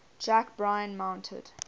jack bryan mounted